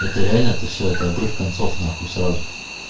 это реально это все это обрыв концов нахуй сразу